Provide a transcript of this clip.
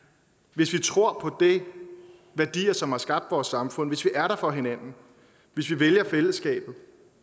hvis vi tror på de værdier som har skabt vores samfund hvis vi er der for hinanden hvis vi vælger fællesskabet